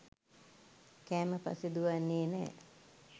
කෑම පස්සේ දුවන්නේ නෑ.